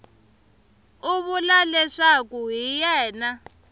u vula leswaku hi yena